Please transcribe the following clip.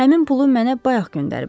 Həmin pulu mənə bayaq göndəriblər.